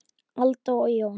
Alda og Jón.